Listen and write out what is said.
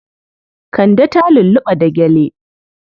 Kande ta lulluɓa da gyale.